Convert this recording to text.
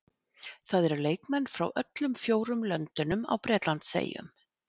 Það eru leikmenn frá öllum fjórum löndunum á Bretlandseyjum.